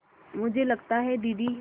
मुझे लगता है दीदी